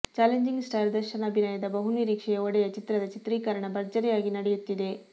challenging star Darshan ಅಭಿನಯದ ಬಹು ನಿರೀಕ್ಷೆಯ ಒಡೆಯ ಚಿತ್ರದ ಚಿತ್ರೀಕರಣ ಭರ್ಜರಿಯಾಗಿ ನಡೆಯುತ್ತಿದೆ